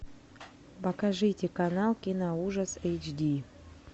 покажите канал киноужас эйдж ди